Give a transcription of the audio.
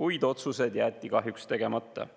kuid otsused jäeti kahjuks tegemata.